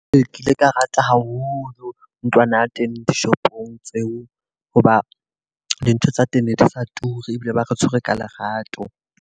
Ee, ke ile ka rata haholo ntlwana teng dishopong tseo hoba dintho tsa teng ne di sa turi. Ebile ba re tshwere ka lerato.